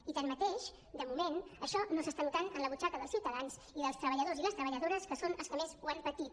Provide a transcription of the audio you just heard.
i tanmateix de moment això no s’està notant en la butxaca dels ciutadans i dels treballadors i les treballadores que són els que més ho han patit